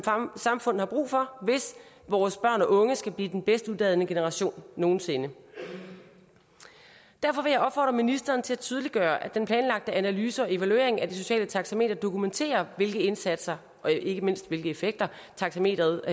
samfund har brug for hvis vores børn og unge skal blive den bedst uddannede generation nogen sinde derfor vil jeg opfordre ministeren til at tydeliggøre at den planlagte analyse og evaluering af det sociale taxameter dokumenterer hvilke indsatser og ikke mindst hvilke effekter taxameteret